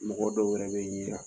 Mɔgɔ dɔw wɛrɛ be yen